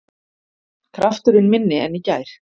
Krafturinn minni en í gær